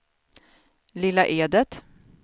Lilla Edet